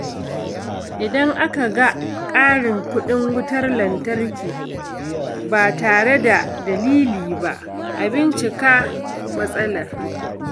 Idan aka ga ƙarin kuɗin wutar lantarki ba tare da dalili ba, a bincika matsalar.